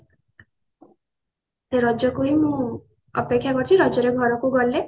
ସେ ରଜ କୁ ହିଁ ମୁଁ ଅପେକ୍ଷା କରିଛି ରଜ ରେ ଘରକୁ ଗଲେ